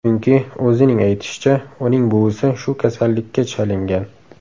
Chunki, o‘zining aytishicha, uning buvisi shu kasallikka chalingan.